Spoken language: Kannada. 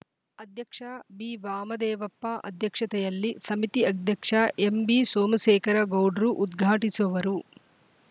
ಅಧ್ಯಕ್ಷ ಬಿವಾಮದೇವಪ್ಪ ಅಧ್ಯಕ್ಷತೆಯಲ್ಲಿ ಸಮಿತಿ ಅಧ್ಯಕ್ಷ ಎಂಬಿಸೋಮಶೇಖರ ಗೌಡ್ರು ಉದ್ಘಾಟಿಸುವರು